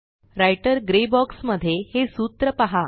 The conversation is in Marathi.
राइटर ग्रे बॉक्स मध्ये हे सूत्र पहा